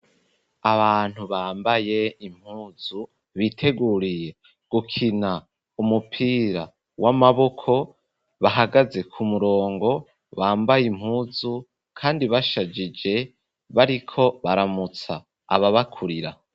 Abantu bambaye impuzu biteguriye gukina umupira w'amaboko bahagaze ku murongo bambaye impuzu kandi bashajije bariko baramutsa ababakurira.